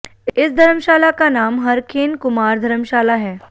इस धर्मशाला का नाम हरखेंन कुमार धर्मशाला है